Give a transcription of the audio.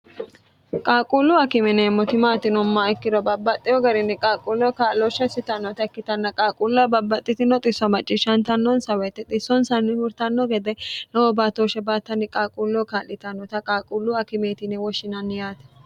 qaaquulluu akime yineemmoti maati yinummoha ikkiro babbaxxeho garinni qaaquulleho kaa'loshsha isitannota ikkitanna qaaquulloho babbaxxitino xisso macciishshantannonsa woyite xissonsanni hurtanno gede lowo baattooshshe baattanni qaaquulloho kaa'litannota qaaquullu akimeeti yine woshshinanni yaate